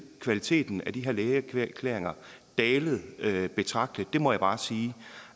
kvaliteten af de her lægeerklæringer dalet betragteligt det må jeg bare sige